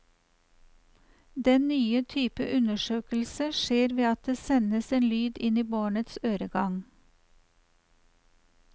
Den nye type undersøkelse skjer ved at det sendes en lyd inn i barnets øregang.